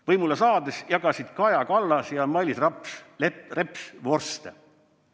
Võimule saades jagasid Kaja Kallas ja Mailis Reps vorste.